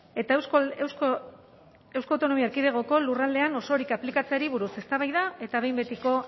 eta euskal autonomia erkidegoko lurraldean osorik aplikatzeari buruz eztabaida eta behin betiko